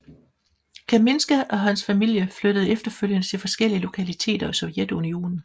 Kamińska og sin familie flyttede efterfølgende til forskellige lokaliteter i Sovjetunionen